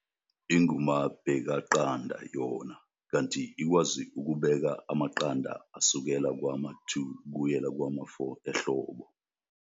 Ingumabekaqanda yona, kanti ikwazi ukubeka amaqanda asukela kwama-2 kuyela kwama-4 ehlobo.